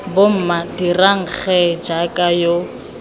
bomma dirang gee jaaka yo